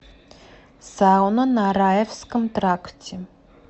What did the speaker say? сауна на раевском тракте